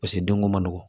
Paseke denko man nɔgɔn